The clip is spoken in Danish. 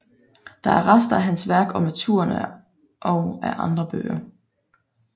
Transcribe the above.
Der er rester af hans værk Om naturen og af andre bøger